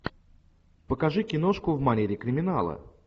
покажи киношку в манере криминала